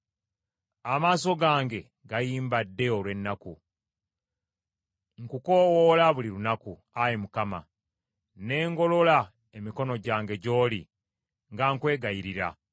Amaaso gange gayimbadde olw’ennaku. Nkukoowoola buli lunaku, Ayi Mukama , ne ngolola emikono gyange gy’oli nga nkwegayirira.